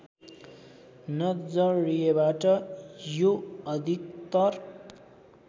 नजरिएबाट यो अधिकतर